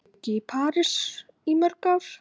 Þær bjuggu í París í mörg ár.